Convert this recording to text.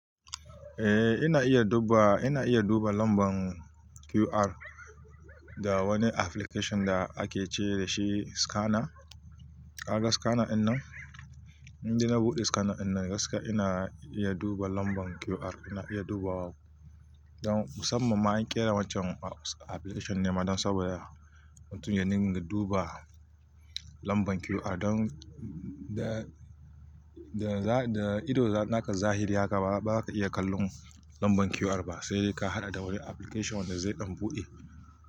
Eh ina iya duba, ina iya duba lamban QR da wani application da ake ce da shi scanner. Kaga scanner dinnan, indai na buɗe scanner dinnan gaskiya ina iya duba lamban QR ina iya dubawa. Don musamman ma an ƙera waccan application ne ma don saboda mutum ya ninga duba lamban QR don da, da, da ido naka zahiri haka ba za ka iya kallon lamban QR ba, sai ka haɗa da wani application wanda zai dan buɗe.